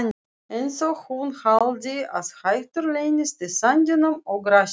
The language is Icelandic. Einsog hún haldi að hættur leynist í sandinum og grasinu.